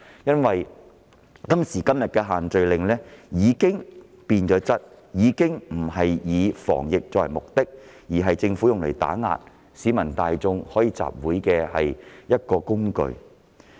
因為今時今日的限聚令已經變質，已經不是以防疫作為目的，而是政府用作打壓市民大眾集會自由的工具。